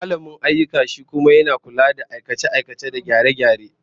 Mallamin ayyuka shi kuma yana lura da aikace-aikace da gyare-gyare